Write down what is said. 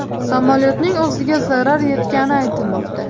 Samolyotning o‘ziga zarar yetgani aytilmoqda.